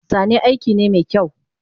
Zane aikine mekyau